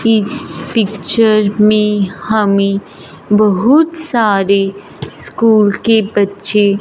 इस पिक्चर में हमें बहुत सारे स्कूल के बच्चे--